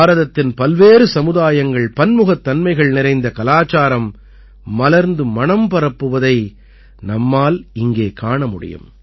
பாரதத்தின் பல்வேறு சமுதாயங்கள்பன்முகத்தன்மைகள் நிறைந்த கலாச்சாரம் மலர்ந்து மணம் பரப்புவதை நம்மால் இங்கே காண முடியும்